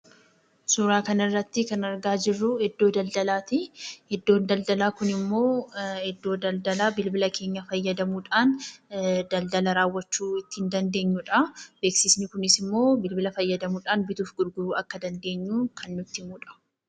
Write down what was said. Suuraa kanarratti kan argaa jirru, iddoo daldalaati. Iddoon daldaalaa kunimmoo iddoo daldalaa bilbila keenya fayyadamuudhaan , daldala raawwachuu ittiin dandeenyudha. Beeksisni kunisimmoo bilbila fayyadamuudhana bituuf gurguruu akka dandeenyu kan nutti himudha.